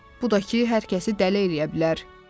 Bu da ki, hər kəsi dəli eləyə bilər."